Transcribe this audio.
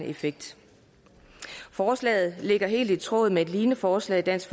effekt forslaget ligger helt i tråd med et lignende forslag dansk